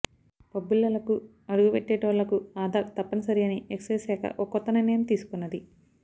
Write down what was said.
పబ్బులల్లకు అడుగువెట్టెటోళ్లకు ఆధార్ తప్పని సరి అని ఎక్సైజ్ శాఖ ఓ కొత్త నిర్ణయం తీసుకున్నది